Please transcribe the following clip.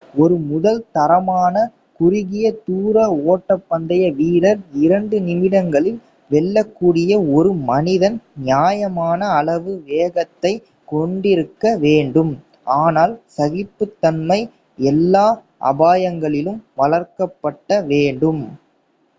ஒரு முதல் தரமான குறுகிய தூர ஓட்டப்பந்தய வீரர் இரண்டு நிமிடங்களில் வெல்லக்கூடிய ஒரு மனிதன் நியாயமான அளவு வேகத்தை கொண்டிருக்க வேண்டும் ஆனால் சகிப்பு தன்மை எல்லா அபாயங்களிலும் வளர்க்கப்பட வேண்டும்